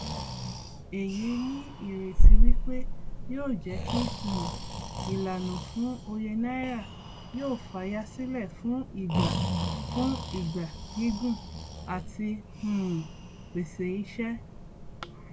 èyí ní ìrètí wípé yóò jẹ kí um ìlànà fún òye náírà yóò fayasílẹ fún ìgbà fún ìgbà gígùn àti um pèsè ìṣe